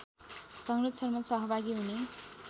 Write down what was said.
संरक्षणमा सहभागी हुने